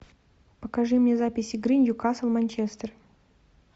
покажи мне запись игры нью касл манчестер